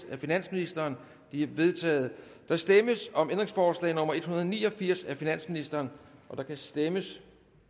af finansministeren de er vedtaget der stemmes om ændringsforslag nummer en hundrede og ni og firs af finansministeren der kan stemmes